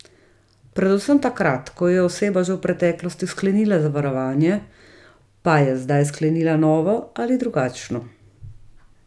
Predvsem takrat, ko je oseba že v preteklosti sklenila zavarovanje, pa je zdaj sklenila novo ali drugačno.